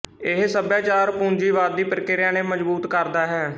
ਇਹ ਸਭਿਆਚਾਰ ਪੂੰਜੀਵਾਦੀ ਪ੍ਰਕਿਰਿਆ ਨੇ ਮਜ਼ਬੂਤ ਕਰਦਾ ਹੈ